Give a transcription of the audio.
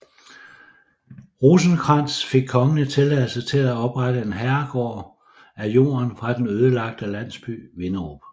Rosenkrantz fik kongelig tilladelse til at oprette en herregård af jorden fra den ødelagte landsby Vinderup